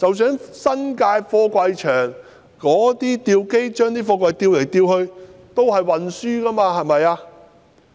新界貨櫃場的吊機把貨櫃吊來吊去，這也屬於運輸途中，是嗎？